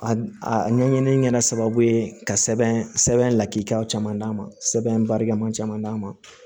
A a ɲɛɲini kɛla sababu ye ka sɛbɛn sɛbɛn lakikaw caman d'a ma sɛbɛn barika ma caman d'a ma